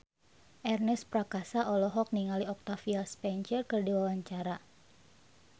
Ernest Prakasa olohok ningali Octavia Spencer keur diwawancara